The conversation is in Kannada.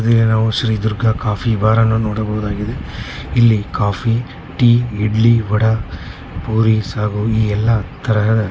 ಇಲ್ಲಿ ನಾವು ಶ್ರೀ ದುರ್ಗಾ ಕಾಫೀ ಬಾರ್ ಅನ್ನು ನೋಡಬಹುದಾಗಿದೆ. ಇಲ್ಲಿ ಕಾಫೀ ಟೀ ಇಡ್ಲಿ ವಡ ಪೂರಿ ಸಾಗು ಈ ಎಲ್ಲಾ ತರಹ--